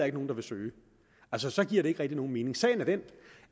er nogen der vil søge altså så giver det ikke rigtig nogen mening sagen er den